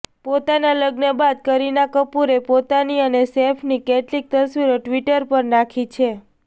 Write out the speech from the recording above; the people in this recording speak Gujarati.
પોતાના લગ્ન બાદ કરીના કપૂરે પોતાની અને સૈફની કેટલીક તસવીરો ટ્વિટર પર નાંખી છે